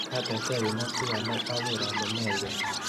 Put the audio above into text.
Katerterin ak bik alak aker ale meywei kei.